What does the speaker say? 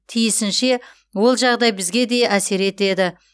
тиісінше ол жағдай бізге де әсер етеді